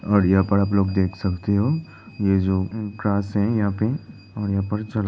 और यहाँ पर आप लोग देख सकते हो ये जो ग्रास है यहां पे और यहाँ पर चला --